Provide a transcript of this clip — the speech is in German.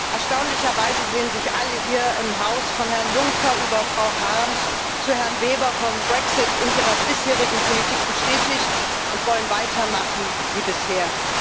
Erstaunlicherweise sehen sich alle hier im Haus von Herrn Juncker über Frau Harms zu Herrn Weber vom Brexit in ihrer bisherigen Politik bestätigt und wollen weitermachen wie bisher.